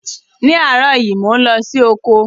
Ní áàrọ̀ yi, mo n lọ si oko